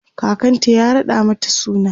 kakanta ya raɗa mata suna